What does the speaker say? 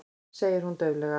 segir hún dauflega.